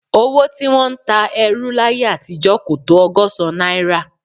Owó tí wọ́n ń ta ẹrú láyé àtijọ́ kò tó ọgọ́sán náírà